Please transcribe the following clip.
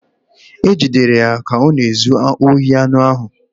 Ha jidere ya ka ọ na-ezu ohi anụ ahụ